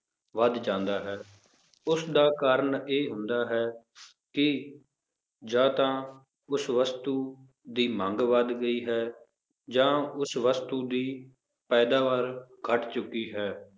ਵੱਧ ਜਾਂਦਾ ਹੈ, ਉਸਦਾ ਕਾਰਨ ਇਹ ਹੁੰਦਾ ਹੈ ਕਿ ਜਾਂ ਤਾਂ ਉਸ ਵਸਤੂ ਦੀ ਮੰਗ ਵੱਧ ਗਈ ਹੈ ਜਾਂ ਉਸ ਵਸਤੂ ਦੀ ਪੈਦਾਵਾਰ ਘੱਟ ਚੁੱਕੀ ਹੈ